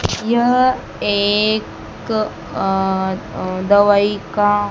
यह एक अं दवाई का--